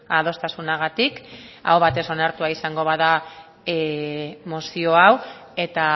adostasunagatik aho batez onartua izango bada mozio hau eta